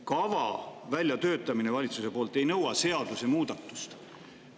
Kava väljatöötamine valitsuse poolt ei nõua seadusemuudatust.